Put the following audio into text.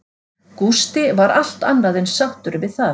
Gústi var allt annað en sáttur við það.